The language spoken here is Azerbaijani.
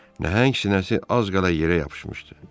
Nəhəng sinəsi az qala yerə yapışmışdı.